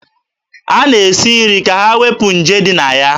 A na-esi nri ka e wepụ nje ndị na ya